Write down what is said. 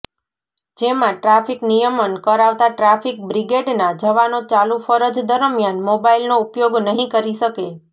જેમાં ટ્રાફિક નિયમન કરાવતા ટ્રાફિક બ્રિગેડનાં જવાનો ચાલુ ફરજ દરમિયાન મોબાઇલનો ઉપયોગ નહીં કરી શકે